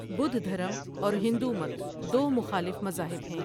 بدھ دھرم اور ھندومت دو مخالف مذاھب ھیں ۔